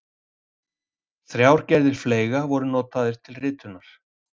þrjár gerðir fleyga voru notaðar til ritunar